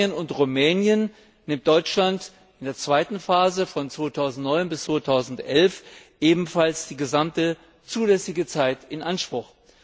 Für Bulgarien und Rumänien nimmt Deutschland in der zweiten Phase von 2009 bis 2011 ebenfalls die gesamte zulässige Zeit in Anspruch.